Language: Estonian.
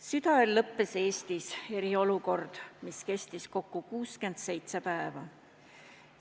Südaööl lõppes Eestis eriolukord, mis kestis kokku 67 päeva.